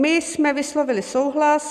My jsme vyslovili souhlas.